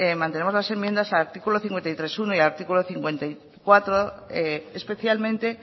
mantenemos las enmiendas al artículo cincuenta y tres punto uno y al artículo cincuenta y cuatro especialmente